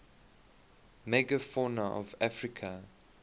megafauna of africa